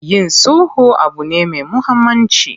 Yin sulhu abu ne me muhammanci.